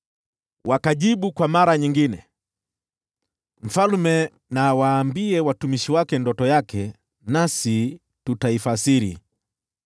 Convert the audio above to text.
Wakajibu kwa mara nyingine, “Mfalme na awaambie watumishi wake ndoto yake, nasi tutaifasiri.”